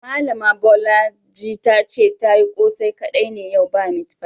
Malami Bolaji ta ce ta yi kose kadai ne yau ba meat pie.